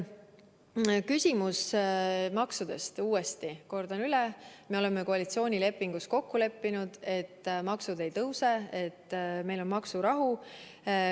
Küsimus maksudest, uuesti kordan üle: me oleme koalitsioonilepingus kokku leppinud, et maksud ei tõuse, meil on maksurahu.